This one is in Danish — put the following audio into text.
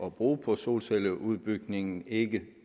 at bruge på solcelleudbygningen ikke